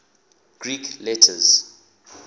greek letters